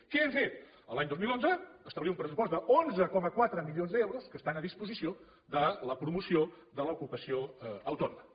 què hem fet l’any dos mil onze establir un pressupost d’onze coma quatre milions d’euros que estan a disposició de la promoció de l’ocupació autònoma